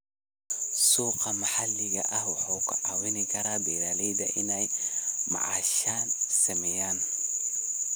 Suuqa maxalliga ah wuxuu ka caawin karaa beeralayda inay macaash sameeyaan.